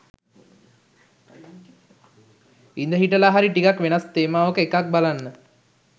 ඉඳලා හිටලා හරි ටිකක් වෙනස් තේමාවක එකක් බලන්න